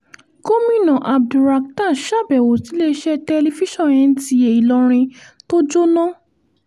gomina abdulrakhtar sábẹ́wò síléeṣẹ́ tẹlifíṣàn nta ìlọrin tó jóná